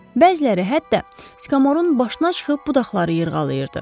Bəziləri hətta skomorun başına çıxıb budaqları yırğalayırdı.